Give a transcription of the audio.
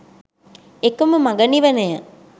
එකම මඟ නිවනය.